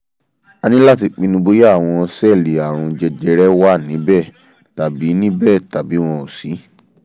a ní láti pinnu bóyá àwọn sẹ́ẹ̀lì ààrùn jẹjẹrẹ wà níbẹ̀ tàbí níbẹ̀ tàbí wọn ò sí